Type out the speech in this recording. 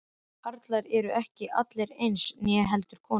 En karlar eru ekki allir eins, né heldur konur.